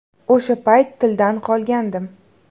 O‘sha payt tildan qolgandim.